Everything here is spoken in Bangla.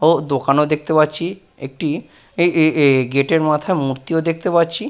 ও দোকানও দেখতে পাচ্ছি। একটি এ এ এ গেটের মাথার মূর্তিও দেখতে পাচ্ছি।